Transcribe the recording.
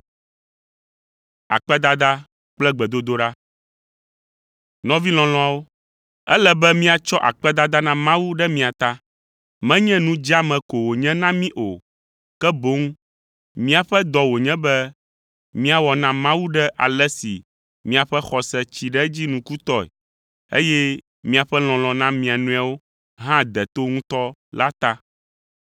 Nɔvi lɔlɔ̃awo, ele be míatsɔ akpedada na Mawu ɖe mia ta. Menye nu dzeame ko wònye na mí o, ke boŋ míaƒe dɔ wònye be míawɔ na Mawu ɖe ale si miaƒe xɔse tsi ɖe edzi nukutɔe, eye miaƒe lɔlɔ̃ na mia nɔewo hã de to ŋutɔ la ta.